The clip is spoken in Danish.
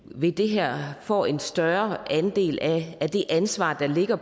ved det her får en større andel af det ansvar der ligger